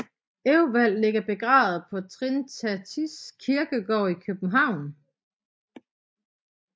Ewald ligger begravet på Trinitatis Kirkegård i København